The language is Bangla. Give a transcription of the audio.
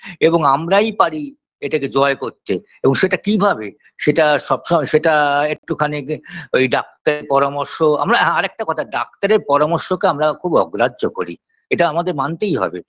এবং আমরাই পারি এটাকে জয় করতে এবং সেটা কীভাবে সেটা সবসময় সেটা আ একটুখানি ঐ doctor -এর পরামর্শ আমরা আরেকটা কথা doctor -এর পরামর্শকে আমরা খুব অগ্রাহ্য করি এটা আমাদের মানতেই হবে